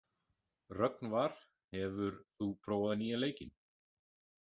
Rögnvar, hefur þú prófað nýja leikinn?